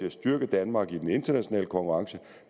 at styrke danmark i den internationale konkurrence